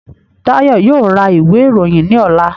Tayo yoo ra iwe iroyin ni ọla